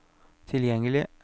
tilgjengelig